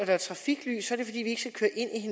er et trafiklys